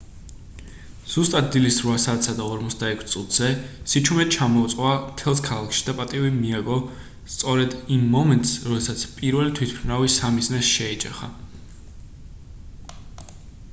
ზუსტად დილის 8:46-ზე სიჩუმე ჩამოწვა მთელს ქალაქში და პატივი მიაგო სწორედ იმ მომენტს როდესაც პირველი თვითმფრინავი სამიზნეს შეეჯახა